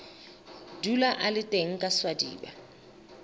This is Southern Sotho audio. dula a le teng kaswadi ba